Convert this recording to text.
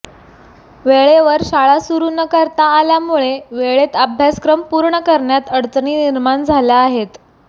वेळेवर शाळा सुरू न करता आल्यामुळे वेळेत अभ्यासक्रम पूर्ण करण्यात अडचणी निर्माण झाल्या आहेत